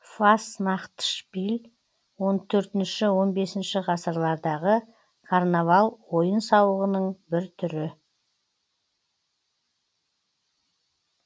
фастнахтшпиль он төртінші он бесінші ғасылардағы карнавал ойын сауығының бір түрі